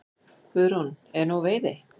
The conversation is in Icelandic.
Guðrún: Og er nóg veiði?